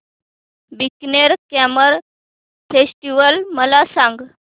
Bikaner camel festival मला सांग